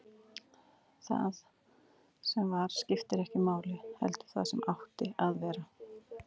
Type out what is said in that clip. Það sem var skipti ekki máli, heldur það sem átti að verða.